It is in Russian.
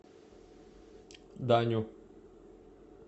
даню